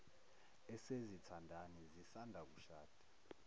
esezithandani zisanda kushada